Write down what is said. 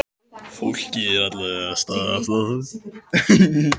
Fólkið er ekki alvarlega slasað